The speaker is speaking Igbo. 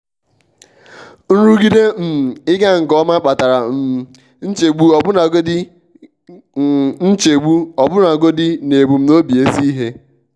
nrụgide um ịga nke ọma kpatara um nchegbuọbụnagodi um nchegbuọbụnagodi n'ebumnobi ezi ihe.